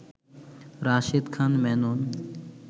Rashed Khan Menon